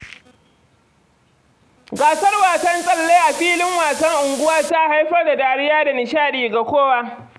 Gasar wasan tsalle a filin wasan unguwa ta haifar da dariya da nishaɗi ga kowa.